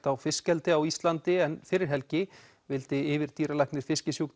á fiskeldi á Íslandi en fyrir helgi vildi yfirdýralæknir